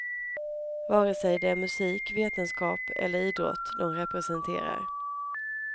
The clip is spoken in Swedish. Vare sig det är musik, vetenskap eller idrott de representerar.